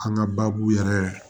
An ka baabu yɛrɛ